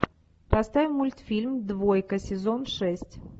поставь мультфильм двойка сезон шесть